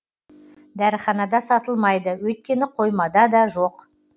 дәріханада сатылмайды өйткені қоймада да жоқ